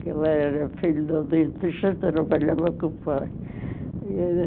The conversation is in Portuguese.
que ele era filho de um dentista, trabalhava com o pai.